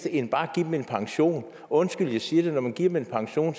end bare at give dem en pension undskyld jeg siger det men når man giver dem en pension